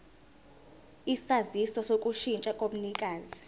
isaziso sokushintsha komnikazi